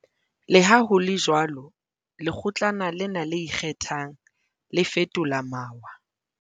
Leha ho le jwalo, Lekgotlana lena le Ikgethang, le fetola mawa.